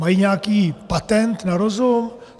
Mají nějaký patent na rozum?